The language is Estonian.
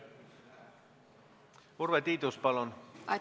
Urve Tiidus, palun!